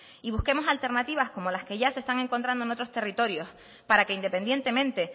y busquemos alternativas como las que ya se están encontrando en otros territorios para que independientemente